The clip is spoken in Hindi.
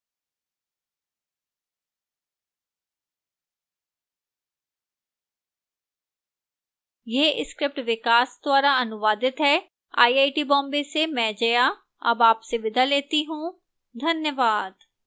यह स्क्रिप्ट विकास द्वारा अनुवादित है आईआईटी बॉम्बे से मैं जया अब आपसे विदा लेती हूं धन्यवाद